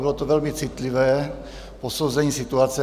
Bylo to velmi citlivé posouzení situace.